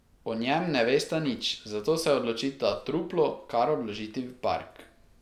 O njem ne vesta nič, zato se odločita truplo kar odložiti v park.